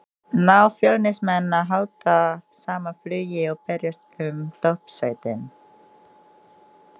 Ná Fjölnismenn að halda sama flugi og berjast um toppsætin?